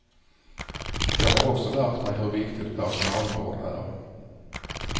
Jag har också lärt mig hur viktigt personalvård är.